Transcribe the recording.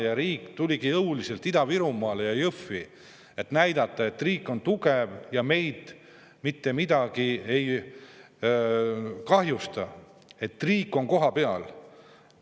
Ja riik tuligi jõuliselt Ida-Virumaale Jõhvi, et näidata, et riik on tugev ja meile mitte kuidagi kahju teha, riik on kohapeal.